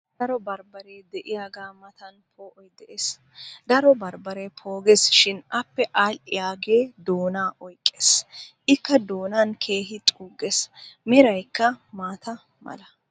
daro bambbaree diyaagaa matan poo'oy des. daro bambbaree poogees shi appe aadhiyaagee doonaa oyqqees. ikka doonan keehi xuugees. meraykka maata mala.